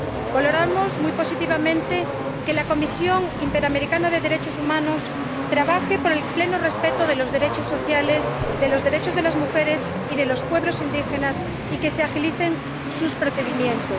Valoramos muy positivamente que la Comisión Interamericana de Derechos Humanos trabaje por el pleno respeto de los derechos sociales, de los derechos de las mujeres y de los pueblos indígenas, y que se agilicen sus procedimientos.